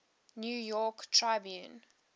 new york tribune